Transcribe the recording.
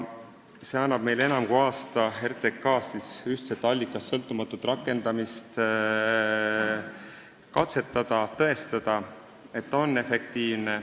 See annab meile enam kui aasta selleks, et RTK-s ühtset, allikast sõltumatut toetuste rakendamist katsetada, tõestamaks, et see on efektiivne.